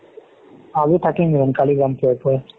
আজি থাকিম room কালি যাম পুৱাই পুৱাই